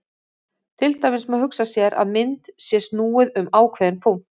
Til dæmis má hugsa sér að mynd sé snúið um ákveðinn punkt.